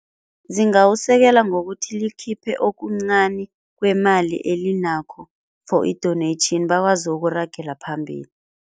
Zingawusekela ngokuthi likhiphe okuncani kwemali elinakho for i-donation bakwazi ukuragela phambili.